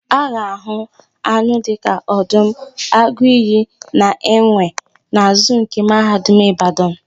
A ga-àhụ́ anụ dịka ọdụm, agụ iyi na enwe na zuu nke Mahadum Ịbadanụ.